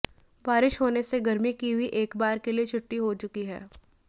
बारिश होने से गर्मी की भी एक बार के लिए छुट्टी हो चुकी है